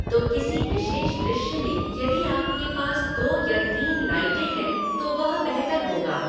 तो किसी विशेष दृश्य में यदि आपके पास दो या तीन लाइटें हैं तो वह बेहतर होगा।